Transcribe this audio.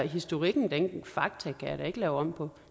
historikken og fakta kan jeg da ikke lave om på